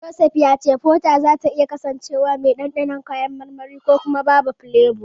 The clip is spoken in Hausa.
Joseph ya ce Fota zata iya kasancewa mai dandanon kayan marmari ko kuma babu filebo.